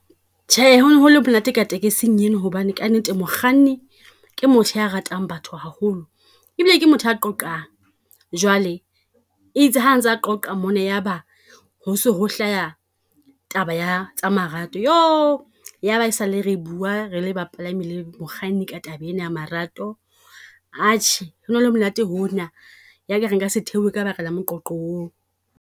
Tjhe, ho ne ho le monate ka takesing ena, hobane kannete mokganni ke motho ya ratang batho haholo. Ebile ke motho a qoqang, jwale e itse ha ntsa qoqa mona, yaba ho so ho hlaha taba ya tsa marato. Ya ba ha e sa le re bua re le bapalami le mokganni ka taba ena ya marato. Atjhe, ho ne ho le monate hona, ya ka re nka se theohe ka ba ka la moqoqo oo.